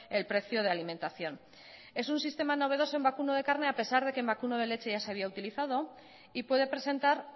el precio de alimentación es un sistema novedoso en vacuno de carne a pesar de que en vacuno de leche ya se había utilizado y puede presentar